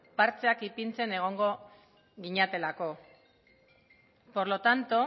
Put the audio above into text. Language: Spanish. partxeak ipintzen egongo ginatekeelako por lo tanto